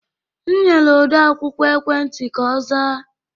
M nyere odeakwụkwọ ekwentị ka ọ zaa